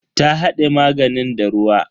Ta hade maganin da ruwa.